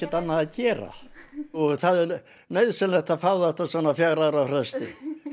annað að gera það er nauðsynlegt að fá þetta svona á fjögurra ára fresti